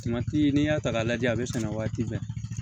n'i y'a ta k'a lajɛ a bɛ sɛnɛ waati bɛɛ